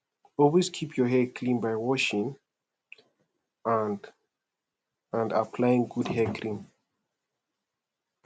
always keep your hair clean by washing and and applying good hair cream